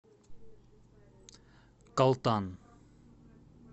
калтан